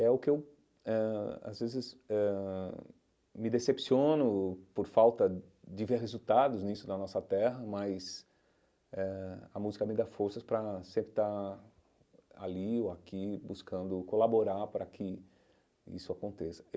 É o que eu eh às vezes eh me decepciono por falta de ver resultados nisso na nossa terra, mas eh a música me dá forças para sempre estar ali ou aqui buscando colaborar para que isso aconteça.